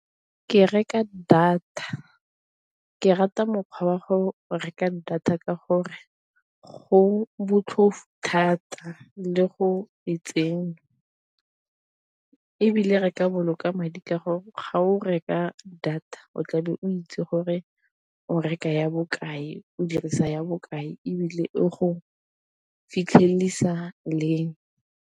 Ke reka data ke rata mokgwa wa go reka data ka gore go botlhofo thata le go e tsenya, ebile re ka boloka madi ka gore ga o reka data o tlabe o itse gore o reka ya bokae, o dirisa ya bokae, ebile e go fitlhelelisa leng.